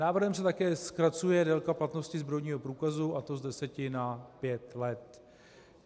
Návrhem se také zkracuje délka platnosti zbrojního průkazu, a to z deseti na pět let.